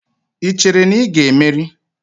Ị chere na ị ga-emeri?